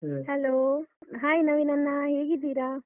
Hello, hai ನವೀನಣ್ಣ. ಹೇಗಿದ್ದೀರಾ?